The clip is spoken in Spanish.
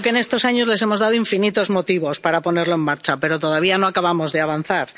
Creo que en estos años les hemos dado infinitos motivos para ponerlo en marcha, pero todavía no acabamos de avanzar.